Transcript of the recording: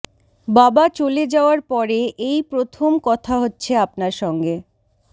বাবা চলে যাওয়ার পরে এই প্রথম কথা হচ্ছে আপনার সঙ্গে